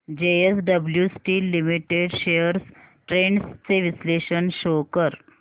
JSW steel limited shares trends चे विश्लेषण show कर